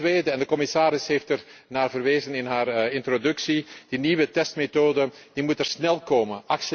maken. Ten tweede de commissaris heeft ernaar verwezen in haar introductie die nieuwe testmethode moet er snel